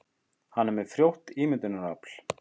Hann er með frjótt ímyndunarafl.